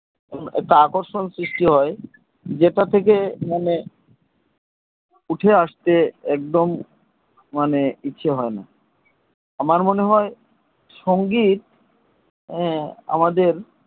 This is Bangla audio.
একটা আকর্ষণ সৃষ্টি হয় যেটা থেকে মনে উঠে আস্তে একদম মানে ইচ্ছা হয় না আমার মনে হয় সঙ্গীত আমাদের